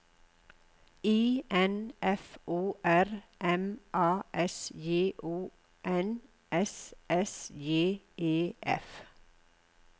I N F O R M A S J O N S S J E F